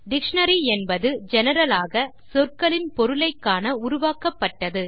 dictionary என்பது general ஆக சொற்களின் பொருளை காண உருவாக்கப்பட்டது